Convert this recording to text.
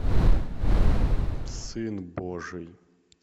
сын божий